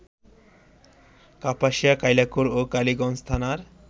কাপাসিয়া, কালিয়াকৈর ও কালীগঞ্জ থানার